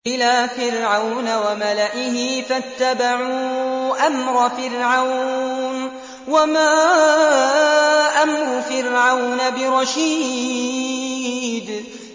إِلَىٰ فِرْعَوْنَ وَمَلَئِهِ فَاتَّبَعُوا أَمْرَ فِرْعَوْنَ ۖ وَمَا أَمْرُ فِرْعَوْنَ بِرَشِيدٍ